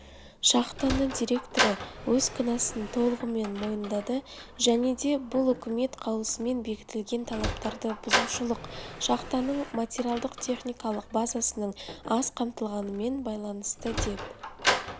шахтаны директоры өз кінәсін толығымен мойындады және де бұл үкімет қаулысымен бекітілген талаптарды бұзушылық шахтаның метариалдық-техникалық базасының аз қамтылғанымен байланысты деп